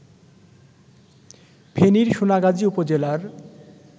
ফেনীর সোনাগাজী উপজেলার